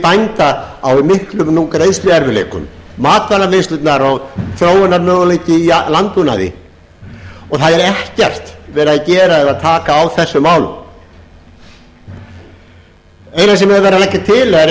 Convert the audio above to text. nú í miklum greiðsluerfiðleikum matvælavinnslurnar og þróunarmöguleikum í landbúnaði og það er ekkert verið að gera í að taka á þessum málum það eina sem er verið að leggja til er að opna fyrir